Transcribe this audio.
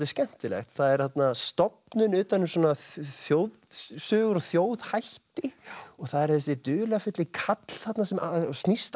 skemmtilegt það er stofnun utan um þjóðsögur og þjóðhætti og það er þessi dularfulli karl þarna sem allt snýst